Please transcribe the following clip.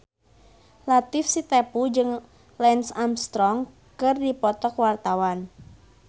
Latief Sitepu jeung Lance Armstrong keur dipoto ku wartawan